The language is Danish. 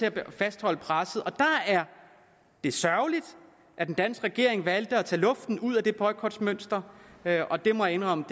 at vi fastholder presset det er sørgeligt at den danske regering valgte at tage luften ud af det boykotmønster og jeg og jeg må indrømme